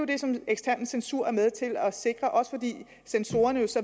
det som den eksterne censur er med til at sikre også fordi censorerne